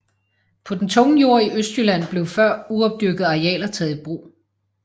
På den tunge jord i Østjylland blev før uopdyrkede arealer taget i brug